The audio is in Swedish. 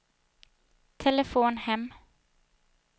telefon hem